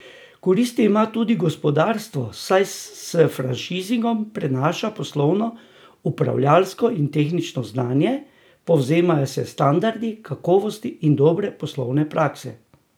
Koristi ima tudi gospodarstvo, saj se s franšizingom prenaša poslovno, upravljalsko in tehnično znanje, povzemajo se standardi kakovosti in dobre poslovne prakse.